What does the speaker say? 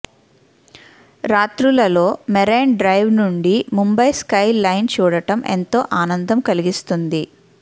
రాత్రులలో marine drive నుండి Mumbai skyline చూడటం ఎంతో ఆనందం కలిగిస్తుంది